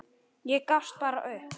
Ég gafst bara upp.